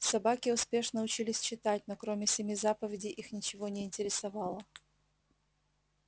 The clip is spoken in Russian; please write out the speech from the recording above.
собаки успешно учились читать но кроме семи заповедей их ничего не интересовало